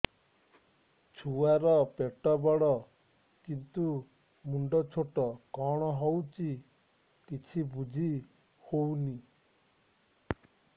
ଛୁଆର ପେଟବଡ଼ କିନ୍ତୁ ମୁଣ୍ଡ ଛୋଟ କଣ ହଉଚି କିଛି ଵୁଝିହୋଉନି